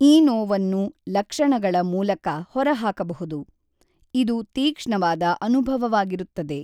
ಈ ನೋವನ್ನು ಲಕ್ಷಣಗಳ ಮೂಲಕ ಹೊರಹಾಕಬಹುದು, ಇದು ತೀಕ್ಷ್ಣವಾದ ಅನುಭವವಾಗಿರುತ್ತದೆ.